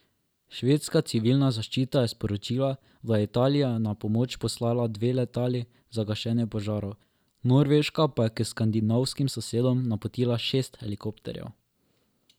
Švedska civilna zaščita je sporočila, da je Italija na pomoč poslala dve letali za gašenje požarov, Norveška pa je k skandinavskim sosedom napotila šest helikopterjev.